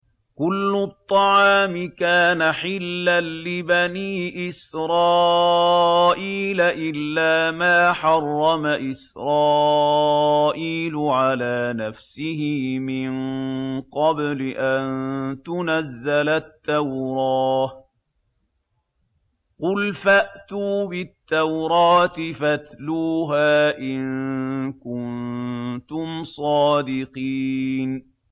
۞ كُلُّ الطَّعَامِ كَانَ حِلًّا لِّبَنِي إِسْرَائِيلَ إِلَّا مَا حَرَّمَ إِسْرَائِيلُ عَلَىٰ نَفْسِهِ مِن قَبْلِ أَن تُنَزَّلَ التَّوْرَاةُ ۗ قُلْ فَأْتُوا بِالتَّوْرَاةِ فَاتْلُوهَا إِن كُنتُمْ صَادِقِينَ